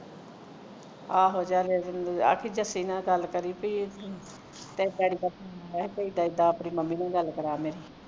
ਆਹੋ ਜਾ ਅਹ ਆਖੀਂ ਜਸੀ ਨਾਲ ਗਲ ਕਰੀ ਪੀ ਤੇਰੇ daddy ਦਾ phone ਆਇਆ ਸੀ ਆਪਣੀ mommy ਦੇ ਨਾਲ ਗਲ ਕਰਵਾ ਮੇਰੀ